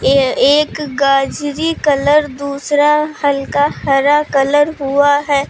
यह एक गाजरी कलर दूसरा हल्का हरा कलर हुआ है।